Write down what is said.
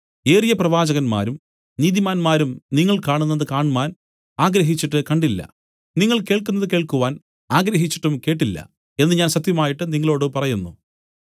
ഏറിയ പ്രവാചകന്മാരും നീതിമാന്മാരും നിങ്ങൾ കാണുന്നത് കാണ്മാൻ ആഗ്രഹിച്ചിട്ട് കണ്ടില്ല നിങ്ങൾ കേൾക്കുന്നത് കേൾക്കുവാൻ ആഗ്രഹിച്ചിട്ടും കേട്ടില്ല എന്നു ഞാൻ സത്യമായിട്ട് നിങ്ങളോടു പറയുന്നു